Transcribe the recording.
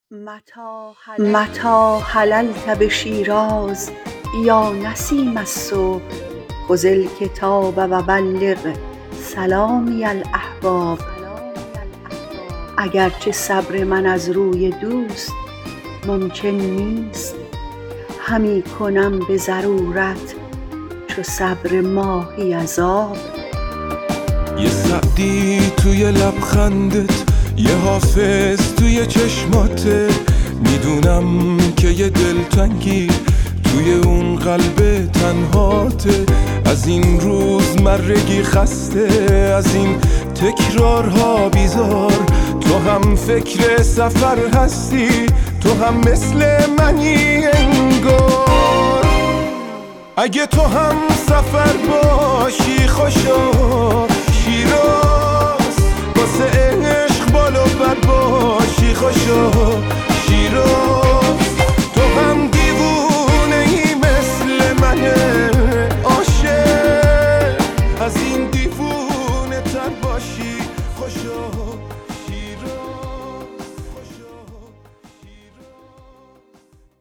متیٰ حللت بشیراز یا نسیم الصبح خذ الکتاب و بلغ سلامی الأحباب اگر چه صبر من از روی دوست ممکن نیست همی کنم به ضرورت چو صبر ماهی از آب